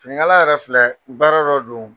Finikala yɛrɛ filɛ baara dɔ don.